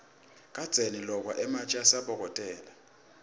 kadzeni lokwa ematje asabokotela